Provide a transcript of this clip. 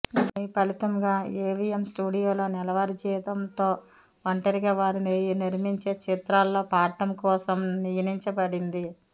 దీని ఫలితంగా ఎవిఎం స్టూడియోలో నెలవారీ జీతంతో ఒంటరిగా వారు నిర్మించే చిత్రాలలో పాడటం కోసం నియనించబడింది